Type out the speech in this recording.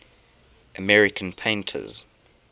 american painters